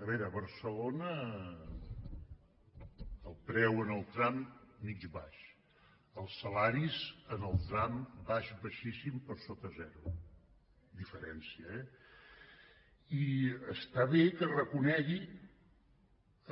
a veure a barcelona el preu en el tram mitjà baix els salaris en el tram baix baixíssim per sota zero amb diferència eh i està bé que reconegui